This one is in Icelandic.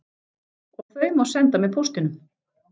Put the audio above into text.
Og þau má eins senda með póstinum!